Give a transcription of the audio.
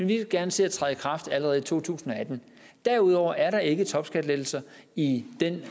vi gerne ser træde i kraft allerede i to tusind og atten derudover er der ikke topskattelettelser i den